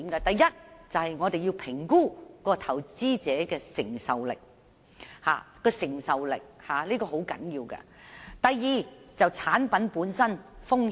第一是評估投資者的承受力，這一點相當重要；第二是評估產品本身的風險。